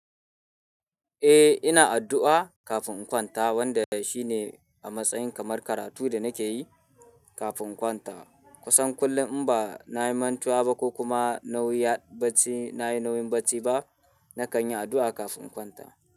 Eh, ina addu'a kafin in kwanta wanda shi ne a matsayin kamar karatu da nake yi kafin in kwanta. Kusan kullum in ba na yi mantuwa ba ko kuma na yi nauyin bacci ba, na kan yi addu'a kafin in kwanta.